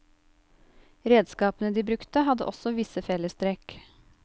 Redskapene de brukte hadde også visse fellestrekk.